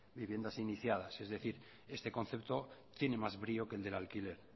viviendas iniciadas es decir este concepto tiene más brío que el del alquiler